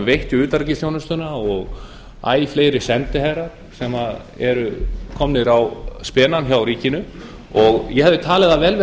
veitt í utanríkisþjónustuna og æ fleiri sendiherrar sem eru komnir á spena hjá ríkinu og ég hefði talið það vel við